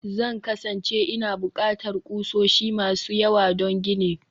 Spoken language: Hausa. Zan kasance ina buƙatar ƙusoshi masu yawa don ginin